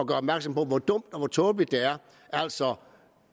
gør opmærksom på hvor dumt og tåbeligt det er altså